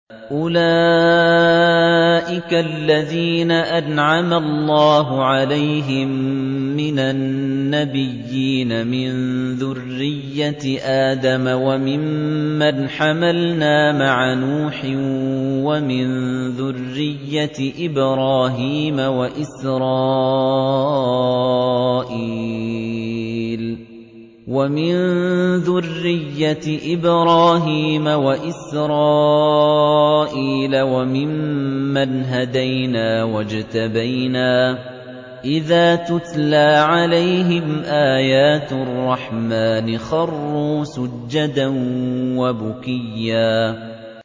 أُولَٰئِكَ الَّذِينَ أَنْعَمَ اللَّهُ عَلَيْهِم مِّنَ النَّبِيِّينَ مِن ذُرِّيَّةِ آدَمَ وَمِمَّنْ حَمَلْنَا مَعَ نُوحٍ وَمِن ذُرِّيَّةِ إِبْرَاهِيمَ وَإِسْرَائِيلَ وَمِمَّنْ هَدَيْنَا وَاجْتَبَيْنَا ۚ إِذَا تُتْلَىٰ عَلَيْهِمْ آيَاتُ الرَّحْمَٰنِ خَرُّوا سُجَّدًا وَبُكِيًّا ۩